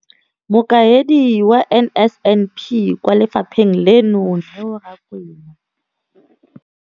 Mokaedi wa NSNP kwa lefapheng leno, Neo Rakwena.